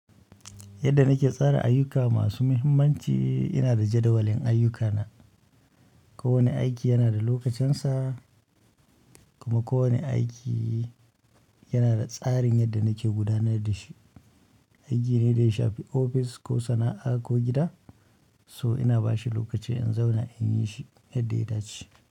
Yadda nake tsara ayyuka masu muhimmanci ina da jadawalin ayyukana. Kowane aiki yana da lokacinsa, kuma kowane aiki yana da tsarin yadda nake gudanar da shi. Aiki ne da ya shafi ofis ko sana'a ko gida. To ina bashi lokaci in zauna inyi shi yadda ya dace.